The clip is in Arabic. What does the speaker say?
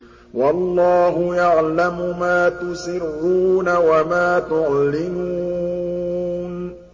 وَاللَّهُ يَعْلَمُ مَا تُسِرُّونَ وَمَا تُعْلِنُونَ